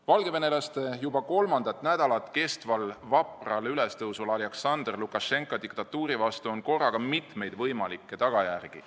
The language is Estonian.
Valgevenelaste juba kolmandat nädalat kestval vapral ülestõusul Alaksandr Lukašenka diktatuuri vastu on korraga mitmeid võimalikke tagajärgi.